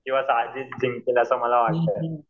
किंवा साजिद जिंकेल असं मला वाटतंय.